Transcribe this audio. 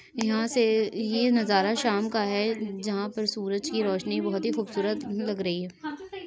यहाँ से ये नजारा शाम का है जहां पर सूरज की रोशनी बहुत ही खूबसूरत लग रही है।